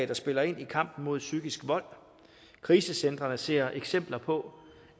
der spiller ind i kampen mod psykisk vold krisecentrene ser eksempler på